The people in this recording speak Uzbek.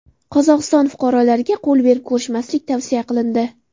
Qozog‘iston fuqarolariga qo‘l berib ko‘rishmaslik tavsiya qilindi.